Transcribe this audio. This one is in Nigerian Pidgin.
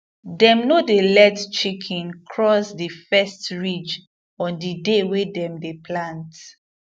dem no dey let chicken cross the first ridge on the day wey dem dey plant